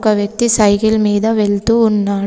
ఒక వ్యక్తి సైకిల్ మీద వెళ్తూ ఉన్నాడు.